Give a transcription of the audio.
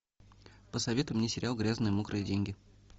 посоветуй мне сериал грязные мокрые деньги